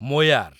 ମୋୟାର